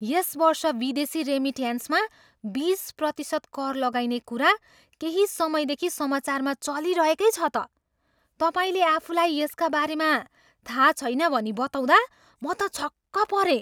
यस वर्ष विदेशी रेमिट्यान्समा बिस प्रतिशत कर लगाइने कुरा केही समयदेखि समाचारमा चलिरहेकै छ त। तपाईँले आफूलाई यसका बारेमा थाहा छैन भनी बताउँदा म त छक्क परेँ।